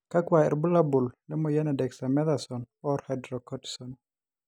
kakua irbulabol le moyian e dexamethasone, or hydrocortisone.